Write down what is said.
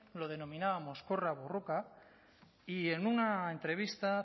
lo denominábamos korra borroka y en una entrevista